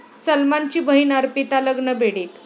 सलमानची बहिण अर्पिता लग्नबेडीत